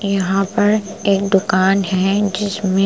यहाँ पर एक दुकान है जिसमें --